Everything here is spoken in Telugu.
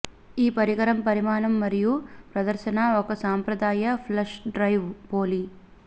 ఈ పరికరం పరిమాణం మరియు ప్రదర్శన ఒక సంప్రదాయ ఫ్లాష్ డ్రైవ్ పోలి